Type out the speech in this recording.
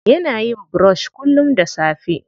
Yana yin brush kullum da safe.